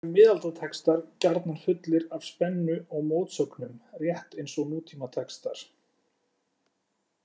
Nú eru miðaldatextar gjarnan fullir af spennu og mótsögnum, rétt eins og nútímatextar.